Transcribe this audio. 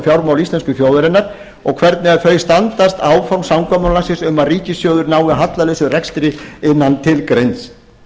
fjármál þjóðarinnar og hvernig þau standast áform samkomulagsins um að ríkissjóður nái hallalausum rekstri innan tilgreinds tíma